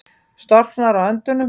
Storknar á höndunum.